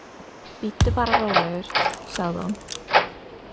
Bíddu bara rólegur, sagði hún.